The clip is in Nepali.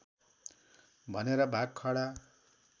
भनेर भाग खडा